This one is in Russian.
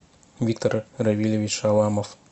виктор равилевич шаламов